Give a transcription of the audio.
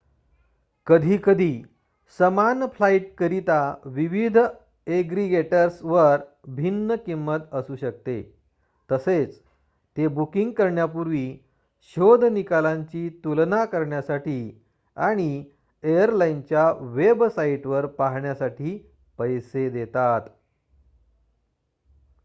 कधीकधी समान फ्लाईटकरिता विविध एग्रीगेटर्सवर भिन्न किंमत असू शकते तसेच ते बुकिंग करण्यापूर्वी शोध निकालांची तुलना करण्यासाठी आणि एअरलाइनच्या वेबसाईटवर पाहण्यासाठी पैसे देतात